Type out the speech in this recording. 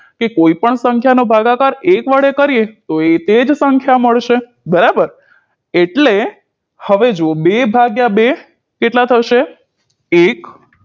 કે કોઈ પણ સંખ્યા નો ભાગાકાર એક વડે કરીએ તો એ તેજ સંખ્યા મળેશે બરાબર એટલે હવે જુઓ બે ભાગ્યા બે કેટલા થશે એક